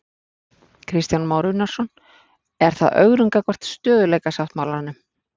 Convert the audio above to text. Kristján Már Unnarsson: Er það ögrun gagnvart stöðugleikasáttmálanum?